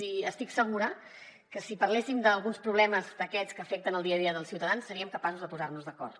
i estic segura que si parléssim d’alguns problemes d’aquests que afecten el dia a dia dels ciutadans seríem capaços de posar nos d’acord